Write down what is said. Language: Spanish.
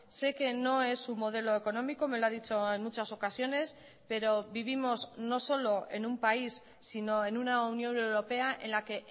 sé que no es su modelo económico me lo ha dicho en muchas ocasiones pero vivimos no solo en un país sino en una unión europea en la que